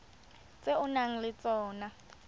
tse o nang le tsona